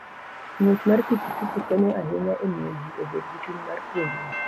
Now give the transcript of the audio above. Ng'wech mar pikipiki konyo ahinya e miyo ji obed gi chuny mar puonjruok.